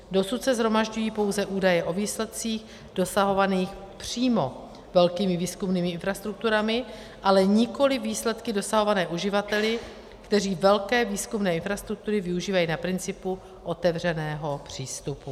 Dosud se shromažďují pouze údaje o výsledcích dosahovaných přímo velkými výzkumnými infrastrukturami, ale nikoli výsledky dosahované uživateli, kteří velké výzkumné infrastruktury využívají na principu otevřeného přístupu.